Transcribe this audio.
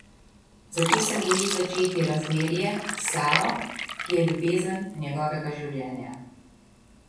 Zato se boji začeti razmerje s Saro, ki je ljubezen njegovega življenja.